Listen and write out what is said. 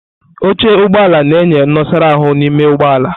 Oche Ụgbọ ala na-enye nnosara ahu n'ime ụgbọ ala.